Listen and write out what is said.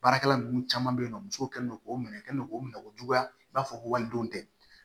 Baarakɛla ninnu caman bɛ yen nɔ musow kɛlen don k'o minɛ kɛ n'o minɛko juguya i b'a fɔ ko walidenw tɛ